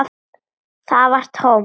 Það var tómt.